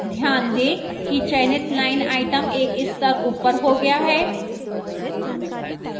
ध्यान दें कि चयनित line item एक स्तर ऊपर हो गया है